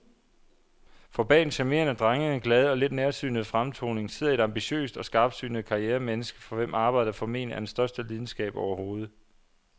For bag den charmerende, drengede, glade og lidt nærsynede fremtoning sidder et ambitiøst og skarpsynet karrieremenneske, for hvem arbejdet formentlig er den største lidenskab overhovedet.